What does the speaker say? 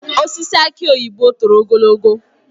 Osisi aki oyibo toro ogologo